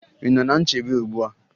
Ị nọ ná nchebe ugbu a?